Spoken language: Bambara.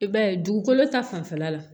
I b'a ye dugukolo ta fanfɛla la